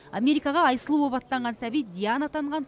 америкаға айсұлу болып аттанған сәби диана атанған